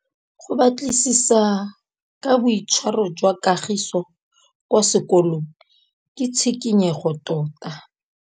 Go batlisisa ka boitshwaro jwa Kagiso kwa sekolong ke tshikinyêgô tota.